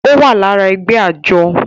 ó wà lára ẹgbẹ́ àjọ